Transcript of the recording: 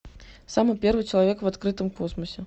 самый первый человек в открытом космосе